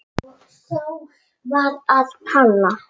Og Sál varð að Páli.